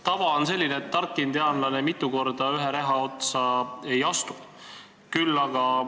Tava on selline, et tark indiaanlane mitu korda ühe reha otsa ei astu.